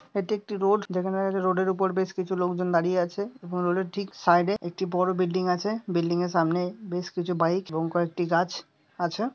এটা একটি রোড যেখানে রোডের উপরে বেশ কিছু লোকজন দাঁড়িয়ে আছে এবং রোডে ঠিক সাইডে একটি বড়ো বিল্ডিং আছে | বিল্ডিং এর সামনে বেশ কিছু বাইক এবং কয়েকটি গাছ আছে ।